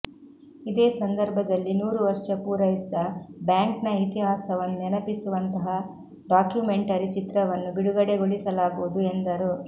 ಇದೇ ಸಂದರ್ಭದಲ್ಲಿ ನೂರುವರ್ಷ ಪೂರೈಸಿದ ಬ್ಯಾಂಕ್ನ ಇತಿಹಾಸವನ್ನು ನೆನಪಿಸುವಂತಹ ಡಾಕ್ಯೂಮೆಂಟರಿ ಚಿತ್ರವನ್ನು ಬಿಡುಗಡೆಗೊಳಿಸಲಾಗುವುದು ಎಂದರು